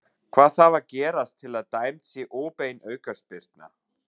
Hvað þarf að gerast til að dæmd sé óbein aukaspyrna?